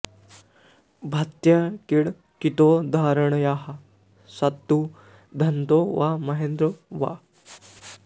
भात्यङ्कितो धरण्यां स तु धनदो वा महेन्द्रो वा